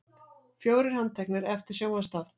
Fjórir handteknir eftir sjónvarpsþátt